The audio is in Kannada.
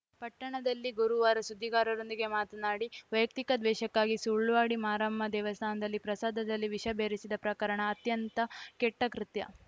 ಪಟ್ಟಣದಲ್ಲಿ ಗುರುವಾರ ಸುದ್ದಿಗಾರರೊಂದಿಗೆ ಮಾತನಾಡಿ ವೈಯಕ್ತಿಕ ದ್ವೇಷಕ್ಕಾಗಿ ಸುಳ್ವಾಡಿ ಮಾರಮ್ಮ ದೇವಸ್ಥಾನದಲ್ಲಿ ಪ್ರಸಾದದಲ್ಲಿ ವಿಷ ಬೆರೆಸಿದ ಪ್ರಕರಣ ಅತ್ಯಂತ್ಯ ಕೆಟ್ಟಕೃತ್ಯ